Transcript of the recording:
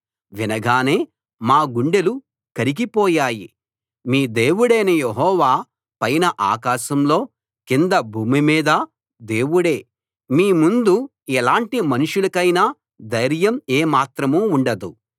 వినగానే మా గుండెలు కరిగిపోయాయి మీ దేవుడైన యెహోవా పైన ఆకాశంలో కింద భూమి మీదా దేవుడే మీ ముందు ఎలాంటి మనుషులకైనా ధైర్యం ఏమాత్రం ఉండదు